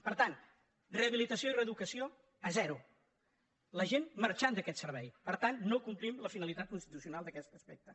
per tant rehabi·litació i reeducació a zero la gent marxa d’aquest ser·vei per tant no complim la finalitat constitucional en aquest aspecte